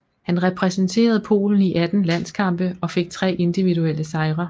Han repræsenterede Polen i 18 landskampe og fik tre individuelle sejre